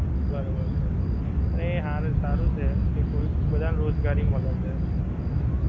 બરોબર છે પણ એ હારું સારું છે જે કોઈ કે બધાં ને રોજગારી મલે છે ઓછી